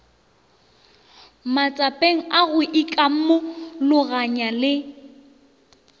matsapeng a go ikamologanya le